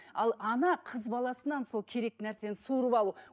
ал ана қыз баласынан сол керекті нәрсені суырып алу